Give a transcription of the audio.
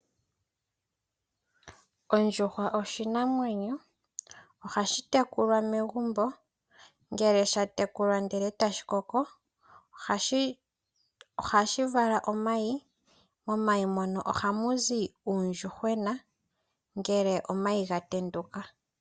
Ondjuhwa oshinamwenyo, ohashi tekulwa megumbo. Ngele sha tekulwa etashi koko ohashi vala omayi. Momayi ngono ohamu zi uundjuhwena ngele omayi ga tenduka.